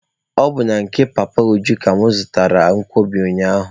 Ọ bụ na nke Papa Uju ka mụ zụtaara nkwobi ụnyaahụ.